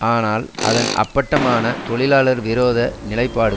ஆனால் அதன் அப்பட்டமான தொழிலாளர் விரோத நிலைப்பாடு